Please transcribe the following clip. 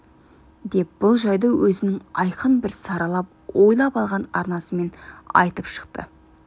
деп бұл жайды өзінің айқын бір саралап ойлап алған арнасымен айтып шықты